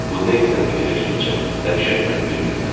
Bu nə isəni fikirləşdikcə dəhşət məni bürüyürdü.